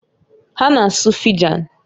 Ha na-asu Fijan